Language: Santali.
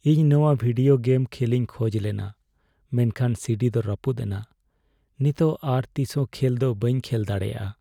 ᱤᱧ ᱱᱚᱣᱟ ᱵᱷᱤᱰᱤᱣ ᱜᱮᱢ ᱠᱷᱮᱞᱤᱧ ᱠᱷᱚᱡ ᱞᱮᱱᱟ ᱢᱮᱱᱠᱷᱟᱱ ᱥᱤᱰᱤ ᱫᱚ ᱨᱟᱹᱯᱩᱫ ᱮᱱᱟ ᱾ ᱱᱤᱛᱚᱜ ᱟᱨ ᱛᱤᱥᱦᱚᱸ ᱠᱷᱮᱞ ᱫᱚ ᱵᱟᱹᱧ ᱠᱷᱮᱞ ᱫᱟᱲᱮᱭᱟᱜᱼᱟ ᱾